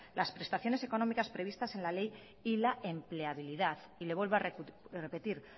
las prestaciones económicas previstas en la ley y la empleabilidad y le vuelvo a repetir